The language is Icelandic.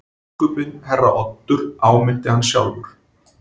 Biskupinn herra Oddur áminnti hann sjálfur.